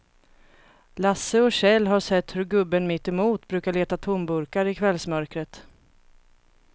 Lasse och Kjell har sett hur gubben mittemot brukar leta tomburkar i kvällsmörkret.